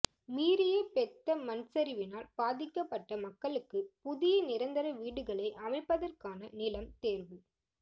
மீரிய பெத்த மண்சரிவினால் பாதிக்கப்பட்ட மக்களுக்கு புதிய நிரந்தர வீடுகளை அமைப்பதற்கான நிலம் தேர்வு